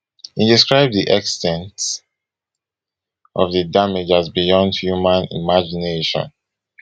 e describe di ex ten t of di damage as beyond human imagination